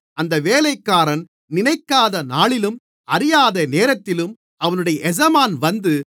அந்த வேலைக்காரன் நினைக்காத நாளிலும் அறியாத நேரத்திலும் அவனுடைய எஜமான் வந்து